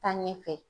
Taa ɲɛfɛ